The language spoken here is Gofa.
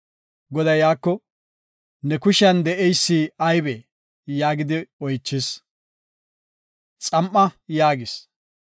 Goday Museko, “Ne kushiyan de7eysi aybee?” yaagidi oychis. “Xam7a” yaagis.